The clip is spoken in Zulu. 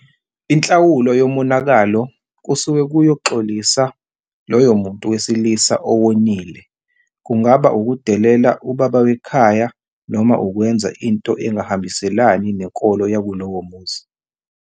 Inhlawulo yomonakalo kusuke kuyoxolisa loyo muntu wesilisa owonile kungaba ukudelela ubaba wekhaya noma ukwenza into engahambiselani nenkolo yakulowomuzi.